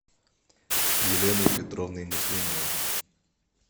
еленой петровной муслимовой